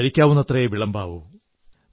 കഴിക്കാവുന്നത്രയേ വിളമ്പാവൂ